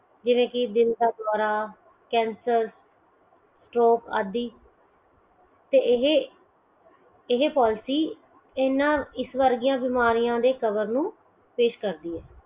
ਜਿਵੇ ਕੀ ਦਿਲ ਦਾ ਦੋਰਾ ਕੈਂਸਰ stroke ਆਦਿ ਤੇ ਇਹ Policy ਇਹਨਾਂ ਇਹ ਵਰਗੀਆਂ ਬਿਮਾਰੀਆਂ ਦੇ cover ਨੂੰ ਪੇਸ਼ ਕਰਦੀ ਹੈ